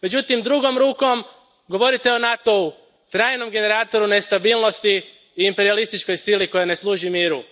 Međutim, drugom rukom govorite o NATO u, trajnom generatoru nestabilnosti i imperijalističkoj sili koja ne služi miru.